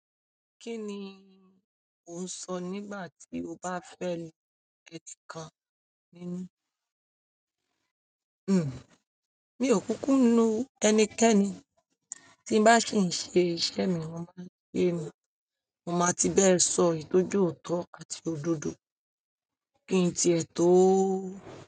Kí ni ò ń sọ nígbà tí o bá fẹ́ lu ẹti kan nínú? Hmm, mi ò kúkú nu ẹnikẹ́ni, tí n bá sì ń ṣe iṣẹ́ mi, mo máa ń ṣe ẹ́, mo máa ti bẹ́ẹ̀ sọ eyì tọ́ je òótọ́ àti òdodo kí n ti ẹ̀ tọ ó.